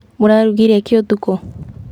Mũrarugire kĩ ũtukũ?